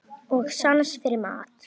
Og sans fyrir mat.